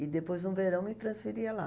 E depois, no verão, me transferia lá.